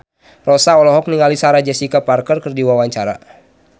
Rossa olohok ningali Sarah Jessica Parker keur diwawancara